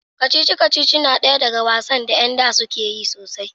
kacici-kacici na daya daga wasan da yar da suka yi sosai